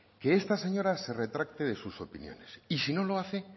que esta señora se retracte de sus opiniones y si no lo hace